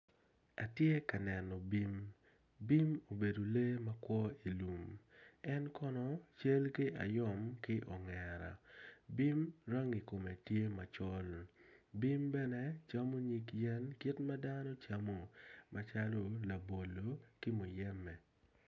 Atye ka neno bim bim obedo lee ma kwo i lum en kono cal ki ayom ki ongera, bim rangi kome tye macol bim bene camo nyig yen kit ma dano camo macalo labolo ki muyembe.